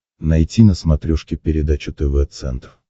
найти на смотрешке передачу тв центр